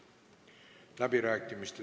Avan läbirääkimised.